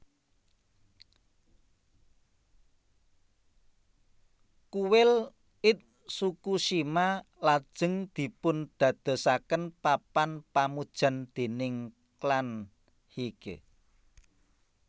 Kuil Itsukushima lajeng dipundadosaken papan pamujan déning klan Heike